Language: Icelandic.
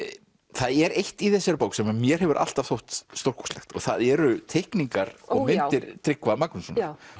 það er eitt í þessari bók sem mér hefur alltaf þótt stórkostlegt og það eru teikningar og myndir Tryggva Magnússonar